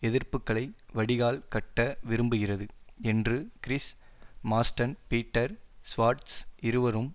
எதிர்ப்புக்களை வடிகால் கட்ட விரும்புகிறது என்று கிரிஸ் மார்ஸ்டன் பீட்டர் ஸ்வார்ட்ஸ் இருவரும்